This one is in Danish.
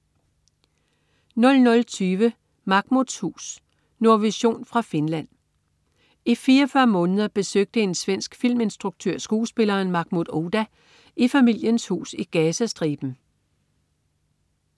00.20 Mahmouds hus. Nordvision fra Finland. I 44 måneder besøgte en svensk filminstruktør skuespilleren Mahmoud Ouda i familiens hus i Gazastriben